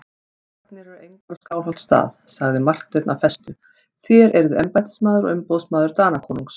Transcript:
Varnir eru engar á Skálholtsstað, sagði Marteinn af festu,-þér eruð embættismaður og umboðsmaður Danakonungs.